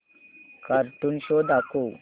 cartoon show दाखव